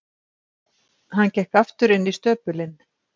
Hann gekk aftur inn í stöpulinn.